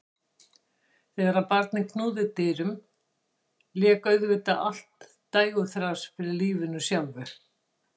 Þegar barnið knúði dyra vék auðvitað allt dægurþras fyrir lífinu sjálfu.